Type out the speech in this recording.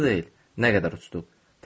Yadımda deyil, nə qədər uçduq.